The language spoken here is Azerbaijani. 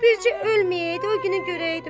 Bircə ölməyəydi, o günü görəydi.